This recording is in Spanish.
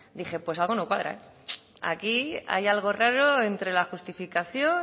dije pues algo no cuadra aquí hay algo raro entre la justificación